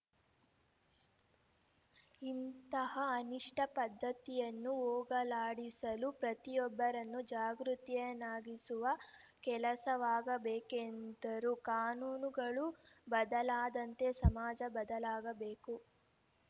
ಇಂತಹ ಅನಿಷ್ಟಪದ್ದತಿಯನ್ನು ಹೋಗಲಾಡಿಸಲು ಪ್ರತಿಯೊಬ್ಬರನ್ನು ಜಾಗೃತರನ್ನಾಗಿಸುವ ಕೆಲಸವಾಗಬೇಕೆಂದರು ಕಾನೂನುಗಳು ಬದಲಾದಂತೆ ಸಮಾಜ ಬದಲಾಗಬೇಕು